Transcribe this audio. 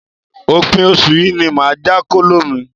Òpin oṣù yìí ni màá já kóló mi.